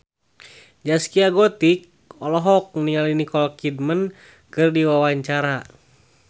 Zaskia Gotik olohok ningali Nicole Kidman keur diwawancara